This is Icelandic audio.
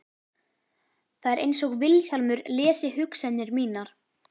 Það er einsog Vilhjálmur lesi hugsanir mínar.